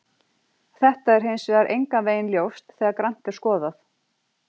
Þetta er hins vegar engan veginn ljóst þegar grannt er skoðað.